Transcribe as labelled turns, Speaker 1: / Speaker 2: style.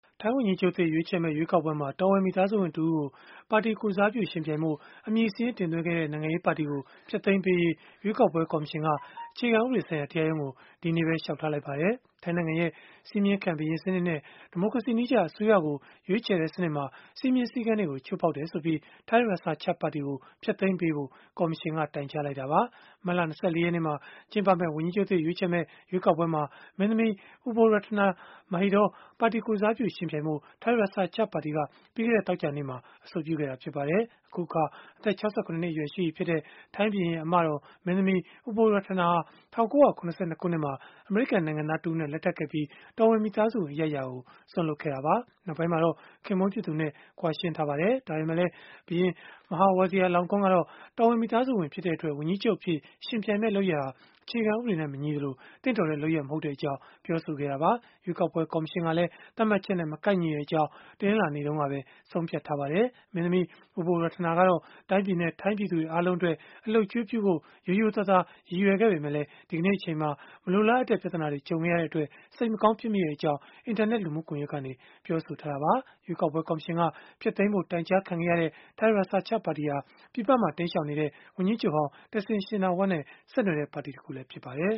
Speaker 1: ထိုင်းဝန်ကြီးချုပ်သစ် ရွေးချယ်မယ့် ရွေးကောက်ပွဲမှာ တော်ဝင်မိသားစုဝင်တဦးကို ပါတီကိုယ်စားပြု ယှဉ်ပြိုင်ဖို့ အမည်စာရင်း တင်သွင်းခဲ့တဲ့ နိုင်ငံရေးပါတီကို ဖျက်သိမ်းပေးရေး ရွေးကောက်ပွဲ ကော်မရှင်က အခြေခံဥပဒေဆိုင်ရာ တရားရုံးကို ဒီကနေ့ပဲ လျှောက်ထားလိုက်ပါတယ်။ ထိုင်းနိုင်ငံရဲ့ စည်းမျဉ်းခံ ဘုရင်စနစ်နဲ့ ဒီမိုကရေစီနည်းကျ အစိုးရကို ရွေးချယ်တဲ့စနစ်မှာ စည်းမျဉ်းစည်းကမ်းတွေကို ချိုးဖောက်ခဲ့တယ်ဆိုပြီး Thai Raksa Chart ပါတီကို ဖျက်သိမ်းပေးဖို့ ကော်မရှင်က တိုင်ကြားလိုက်တာပါ။ မတ်လ ၂၄ ရက်နေ့မှာ ကျင်းပမယ့် ဝန်ကြီးချုပ်သစ် ရွေးချယ်မယ့် ရွေးကောက်ပွဲမှာ မင်းသမီး Ubolratana Mahidol ပါတီကိုယ်စားပြု ယှဉ်ပြိုင်ဖို့ Thai Raksa Chart ပါတီက ပြီးခဲ့တဲ့ သောကြာနေ့ကပဲ အဆိုပြုခဲ့တာ ဖြစ်ပါတယ်။ အခုအခါ အသက် ၆၇ နှစ်အရွယ် ရှိနေပြီဖြစ်တဲ့ ထိုင်းဘုရင်ရဲ့ အမတော် မင်းသမီး Ubolratana ဟာ ၁၉၇၂ ခုနှစ်မှာ အမေရိကန်နိုင်ငံသား တဦးနဲ့ လက်ထပ်ခဲ့ပြီး တော်ဝင်မိသားစုဝင် အရိုက်အရာကို စွန့်လွှတ်ခဲ့တာပါ။ နောက်ပိုင်းမှာတော့ ခင်ပွန်းဖြစ်သူနဲ့ ကွာရှင်းထားပါတယ်။ ဒါပေမဲ့လည်း ဘုရင် Maha Vajiralongkorn ကတော့ တော်ဝင်မိသားစုဝင်ဖြစ်တဲ့အတွက် ဝန်ကြီးချုပ်အဖြစ် ယှဉ်ပြိုင်မယ့် လုပ်ရပ်ဟာ အခြေခံဥပဒေနဲ့ မညီသလို၊ သင့်တော်တဲ့လုပ်ရပ် မဟုတ်ကြောင်း ပြောဆိုခဲ့တာပါ။ ရွေးကောက်ပွဲ ကော်မရှင်ကလည်း သတ်မှတ်ချက်နဲ့ မကိုက်ညီကြောင်း တနင်္လာနေ့တုန်းကပဲ ဆုံးဖြတ်ခဲ့ပါတယ်။ မင်းသမီး Ubolratana ကတော့ တိုင်းပြည်နဲ့ ထိုင်းပြည်သူတွေ အားလုံးအတွက် အလုပ်အကျွေးပြုဖို့ ရိုးရိုးသားသား ရည်ရွယ်ခဲ့ပေမဲ့လည်း ဒီကနေ့အချိန်မှာ မလိုလားအပ်တဲ့ ပြဿနာတွေ ဖြစ်ခဲ့ရတဲ့အတွက် စိတ်မကောင်းဖြစ်မိတဲ့အကြောင်း အင်တာနက်လူမှုကွန်ရက်ကနေ ပြောဆိုထားတာပါ။ ရွေးကောက်ပွဲ ကော်မရှင်က ဖျက်သိမ်းဖို့ တိုင်ကြားခံခဲ့ရတဲ့ Thai Raksa Chart ပါတီဟာ ပြည်ပမှာ တိမ်းရှောင်နေတဲ့ ဝန်ကြီးချုပ်ဟောင်း Thaksin Shinawatra နဲ့ ဆက်နွယ်တဲ့ ပါတီတခုလည်း ဖြစ်ပါတယ်